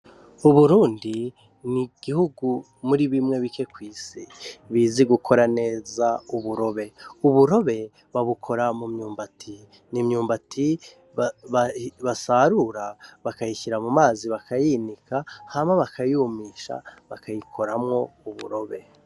Uburundi ni igihugu muri bike kw'isi bizi gukora neza uburobe. Uburobe babukora mu myumbati, ni imyumbati basarura, bakayishira mu mazi bakayinika hama bakayumisha, bakayikoramwo uburobe.